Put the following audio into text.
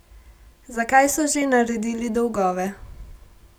Zakaj so že naredili dolgove?